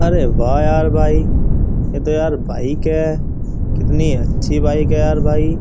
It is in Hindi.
अरे वाह यार भाई ये तो यार बाइक है कितनी अच्छी बाइक है यार भाई।